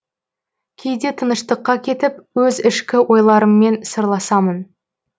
кейде тыныштыққа кетіп өз ішкі ойларыммен сырласамын